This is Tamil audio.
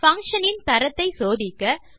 பங்ஷன் இன் தரத்தை சோதிக்க